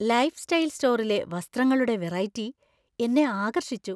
Lifestyle സ്റ്റോറിലെ വസ്ത്രങ്ങളുടെ variety എന്നെ ആകർഷിച്ചു!